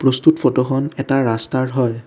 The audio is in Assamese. প্ৰস্তুত ফটোখন এটা ৰাস্তাৰ হয়।